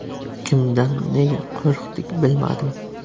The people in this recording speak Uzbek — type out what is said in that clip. Kimdan, nega qo‘rqdik, bilmadim.